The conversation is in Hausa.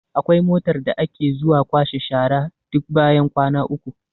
Akwai motar da ke zuwa kwashe shara duk bayan kwana uku.